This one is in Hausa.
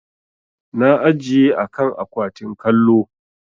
Na ajiye a kan akwatin kallo.